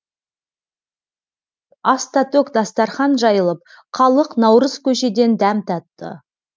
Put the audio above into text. аста төк дастарқан жайылып халық наурыз көжеден дәм татты